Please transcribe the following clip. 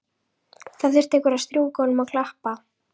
Það þurfti einhver að strjúka honum og klappa.